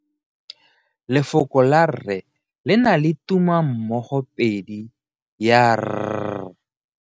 Lefoko la 'rre' le na le tumammogopedi ya r.